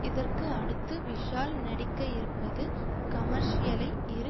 இதற்கு அடுத்து விஷால் நடிக்கயிருப்பது கமர்ஷியலை இரு